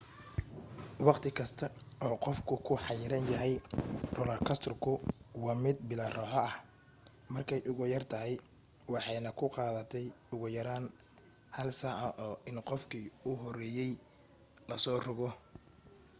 waqti kasta oo qofku ku xayiran yahay roolar koostarku waa mid bilaa raaxo ah markay ugu yartahay waxaanay ku qaadatay ugu yaraan hal saac in qofkii u horeeyay la soo rogo